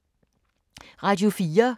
Radio 4